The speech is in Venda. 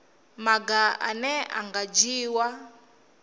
maga ane a nga dzhiiwa